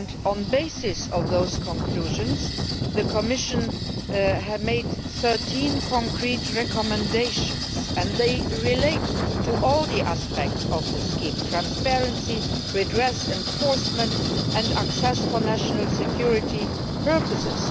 On the basis of those conclusions, the Commission produced 13 concrete recommendations which relate to all the aspects of the scheme transparency, redress, enforcement and access for national security purposes.